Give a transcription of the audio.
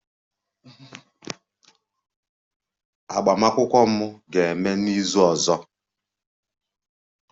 Agbamakwụkwọ m ga-eme n'izu ọzọ